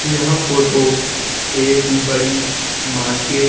यह फोटो एक बड़ी मार्केट --